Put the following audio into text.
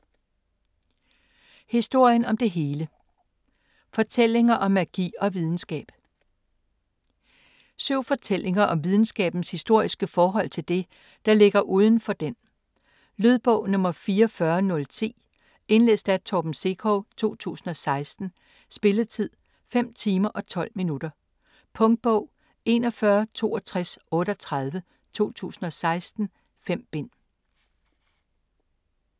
Historien om det hele: fortællinger om magi og videnskab Syv fortællinger om videnskabens historiske forhold til det, der ligger udenfor den. Lydbog 44010 Indlæst af Torben Sekov, 2016. Spilletid: 5 timer, 12 minutter. Punktbog 416238 2016. 5 bind.